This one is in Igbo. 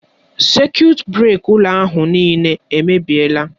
Sekut breka ụlọ ahụ nịịle èmèbịèlà.